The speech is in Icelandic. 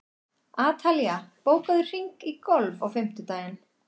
Atalía, bókaðu hring í golf á fimmtudaginn.